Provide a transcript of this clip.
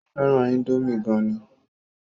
Ó fẹ́ràn índómì gan ni